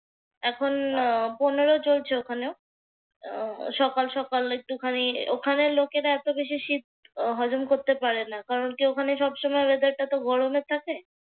এখন পনেরো চলছে ওখানেও। সকাল সকাল একটুখানি ওখানে লোকেরা এত বেশি শীত হজম করতে পারে না। কারণ কি ওখানে সবসময় ওয়েদার টা তো গরমের থাকে।